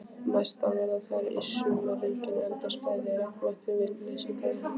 Mestar verða þær í sumarrigningum enda bætist regnvatnið við leysingarvatnið.